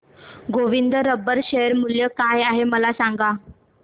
Govind rubber share मूल्य काय आहे मला सांगा